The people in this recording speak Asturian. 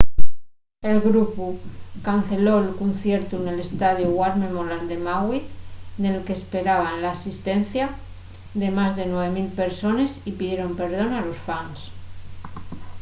el grupu canceló'l conciertu nel estadiu war memorial de maui nel que s'esperaba l'asistencia de más de 9 000 persones y pidieron perdón a los fans